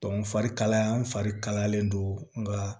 farikalaya n fari kalayalen don nga